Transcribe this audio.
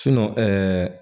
ɛɛ